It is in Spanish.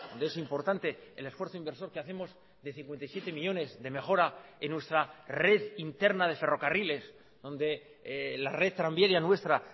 de eso importante el esfuerzo inversor que hacemos de cincuenta y siete millónes de mejora en nuestra red interna de ferrocarriles donde la red tranviaria nuestra